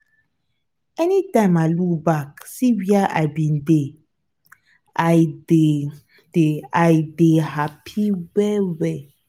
everytime i look back see where i bin dey i dey dey i dey hapi well well.